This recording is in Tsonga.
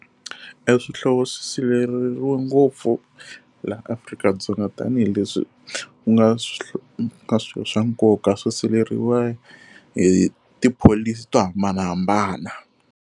E swihlovo swi sirheleriwe ngopfu laha Afrika-Dzonga tanihileswi ku nga ka swilo swa nkoka swi siveriwa hi tipholisi to hambanahambana.